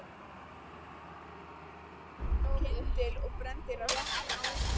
Ungur lögregluþjónn datt oná kyndil og brenndist á rassi.